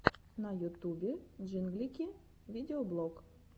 в ютубе джинглики видеоблог